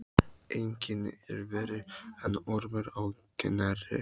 Enginn er verri en Ormur á Knerri.